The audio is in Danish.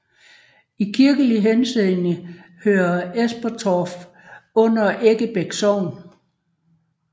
I kirkelig henseende hører Esperstoft under Eggebæk Sogn